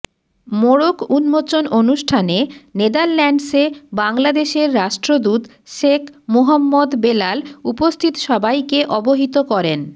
মোড়ক উন্মোচন অনুষ্ঠানে নেদারল্যান্ডসে বাংলাদেশের রাষ্ট্রদূত শেখ মুহম্মদ বেলাল উপস্থিত সবাইকে অবহিত করেন